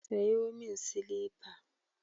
Sayo min silifa.